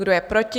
Kdo je proti?